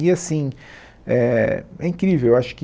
E assim eh é incrível eu acho que